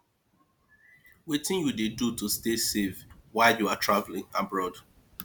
wetin you dey do to stay safe while you are traveling abroad